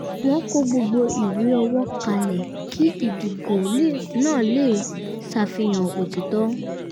wọ́n kọ gbogbo ìwé owó kalẹ̀ kí ìdógò náà lè ṣàfihàn òtítọ́